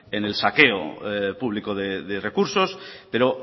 en el saqueo público de recursos pero